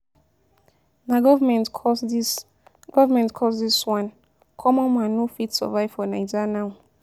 Na government cause this, government cause this one, common man no fit survive for Naija now.